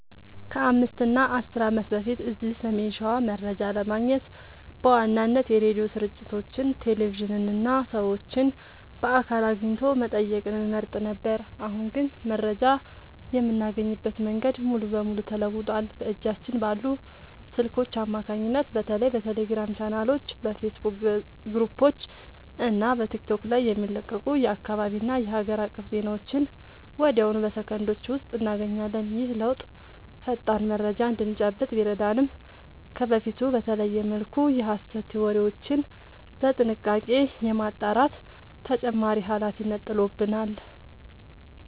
ከ5 እና 10 ዓመት በፊት እዚህ ሰሜን ሸዋ መረጃ ለማግኘት በዋናነት የሬዲዮ ስርጭቶችን፣ ቴሌቪዥንን እና ሰዎችን በአካል አግኝቶ መጠየቅን እንመርጥ ነበር። አሁን ግን መረጃ የምናገኝበት መንገድ ሙሉ በሙሉ ተለውጧል። በእጃችን ባሉ ስልኮች አማካኝነት በተለይ በቴሌግራም ቻናሎች፣ በፌስቡክ ግሩፖች እና በቲክቶክ ላይ የሚለቀቁ የአካባቢና የሀገር አቀፍ ዜናዎችን ወዲያውኑ በሰከንዶች ውስጥ እናገኛለን። ይህ ለውጥ ፈጣን መረጃ እንድንጨብጥ ቢረዳንም፣ ከበፊቱ በተለየ መልኩ የሐሰት ወሬዎችን በጥንቃቄ የማጣራት ተጨማሪ ኃላፊነት ጥሎብናል።